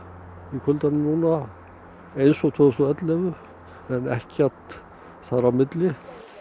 í kuldanum núna eins og tvö þúsund og ellefu en ekkert þar á milli